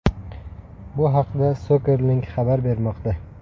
Bu haqda Soccer Link xabar bermoqda.